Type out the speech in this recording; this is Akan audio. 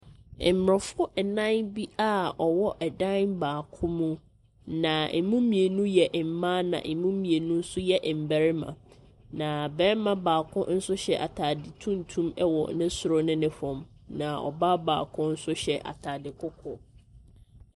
Aborɔfo nnan bi a wɔwɔ dan baako mu, na ɛmu mmienu yɛ mmaa na ɛmu mmienu nso yɛ mmarima, na barima baako nso hyɛ atade tuntum wɔ ne soro ne ne fam, na ɔbaa baako nso hyɛ atade kɔkɔɔ.